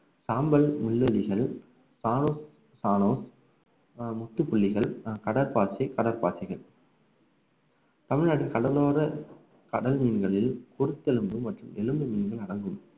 சாம்பல் முற்றுப்புள்ளிகள் கடற்பாசி கடற்பாசிகள் தமிழ்நாட்டின் கடலோர கடல் மீன்களில் குருத்தெலும்பு மற்றும் எலும்பு மீன்கள் அடங்கும்